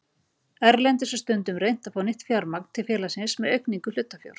Erlendis er stundum reynt að fá nýtt fjármagn til félagsins með aukningu hlutafjár.